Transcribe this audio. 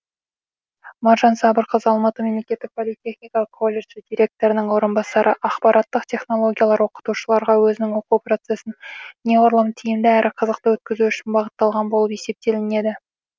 маржан сабырқызы алматы мемлекеттік политехникалық колледжі директорының орынбасары ақпараттық технологиялар оқытушыларға өзінің оқу процесін неғұрлым тиімді әрі қызықты өткізу үшін бағытталған болып есептелінеді